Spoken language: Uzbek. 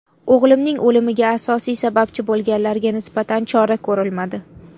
O‘g‘limning o‘limiga asosiy sababchi bo‘lganlarga nisbatan chora ko‘rilmadi.